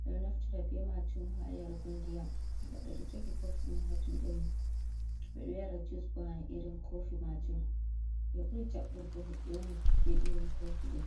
ɓeɗo naftira be majum ha yargo ndiyam, goɗɗo ɗo jogi kofi man hajuɗe mum, ɓeɗo yara jus bo ha irin kofi majum, ɓe ɓuri jaɓɓurgo hoɓɓe on be irin kofi ɗo.